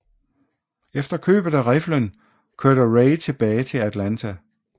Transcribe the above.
Efter købet af riflen kørte Ray tilbage til Atlanta